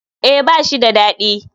Eh ba shi dadi.